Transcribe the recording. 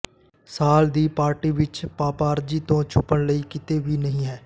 ਸਾਲ ਦੀ ਪਾਰਟੀ ਵਿਚ ਪਪਾਰਜੀ ਤੋਂ ਛੁਪਣ ਲਈ ਕਿਤੇ ਵੀ ਨਹੀਂ ਹੈ